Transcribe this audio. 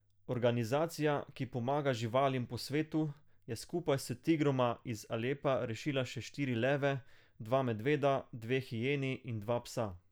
Organizacija, ki pomaga živalim po svetu, je skupaj s tigroma iz Alepa rešila še štiri leve, dva medveda, dve hijeni in dva psa.